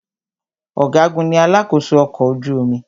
Ọ̀gágun ní alakósó ọkọ̀ ojú omi.